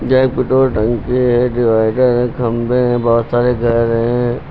यह एक पेट्रोल टंकी है डिवाइडर हैं खंभे हैं बहोत सारे घर हैं।